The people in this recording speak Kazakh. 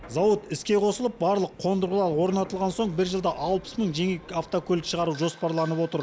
зауыт іске қосылып барлық қондырғылар орнатылған соң бір жылда алпыс мың жеңіл автокөлік шығару жоспарланып отыр